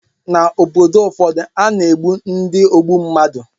Ná obodo ụfọdụ, a na-egbu ndị ogbu mmadụ